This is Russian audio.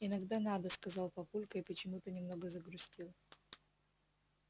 иногда надо сказал папулька и почему-то немного загрустил